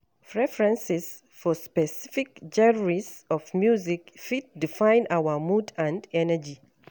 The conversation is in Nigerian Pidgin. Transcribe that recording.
Preferences for specific genres of music fit define our mood and energy.